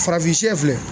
Farafin filɛ